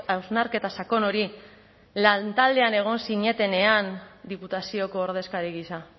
hausnarketa sakon hori lantaldean egon zinetenean diputazioko ordezkari gisa